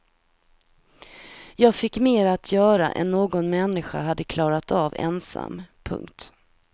Jag fick mer att göra än någon människa kunde ha klarat av ensam. punkt